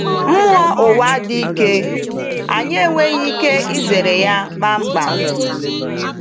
Mmụọ ụwa dị ike, anyị enweghị ike izere ya kpamkpam.